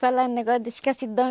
Falando o negócio da escassidão.